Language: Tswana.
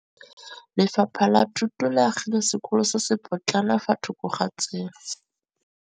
Lefapha la Thuto le agile sekôlô se se pôtlana fa thoko ga tsela.